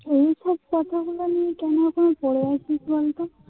তোমরা এখন পড়ে আছিস বলতো.